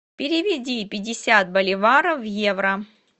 переведи пятьдесят боливаров в евро